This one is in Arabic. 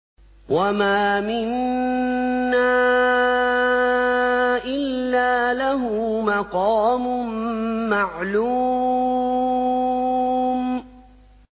وَمَا مِنَّا إِلَّا لَهُ مَقَامٌ مَّعْلُومٌ